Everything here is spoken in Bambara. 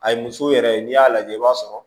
A ye muso yɛrɛ ye n'i y'a lajɛ i b'a sɔrɔ